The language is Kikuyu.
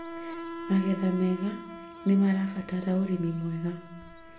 Magetha mega nĩmarabatara ũrĩmi mwega